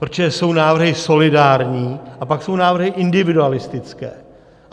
Protože jsou návrhy solidární, a pak jsou návrhy individualistické.